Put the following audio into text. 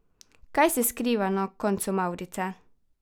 Kaj se skriva na koncu mavrice?